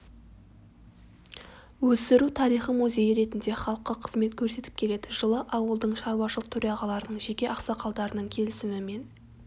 өсіру тарихы музейі ретінде халыққа қызмет көрсетіп келеді жылы ауылдың шаруашылық төрағаларының және ақсақалдарының келісімімен